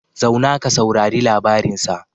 Zauna ka saurari labarin sa